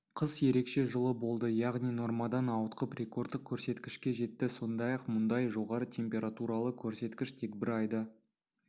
қыс ерекше жылы болды яғни нормадан ауытқып рекордтық көрсеткішке жетті сондай-ақ мұндай жоғары температуралы көрсеткіш тек бір айда